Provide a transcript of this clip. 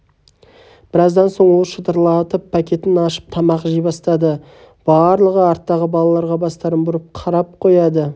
біраздан соң ол шытырлатып пакетін ашып тамақ жей бастады барлығы арттағы балаға бастарын бұрып қарап қояды